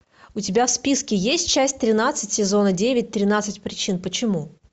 у тебя в списке есть часть тринадцать сезона девять тринадцать причин почему